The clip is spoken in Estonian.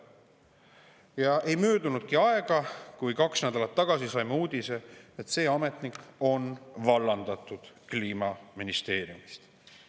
Ja ei möödunudki aega – kaks nädalat tagasi saime uudise, et see ametnik on vallandatud Kliimaministeeriumist.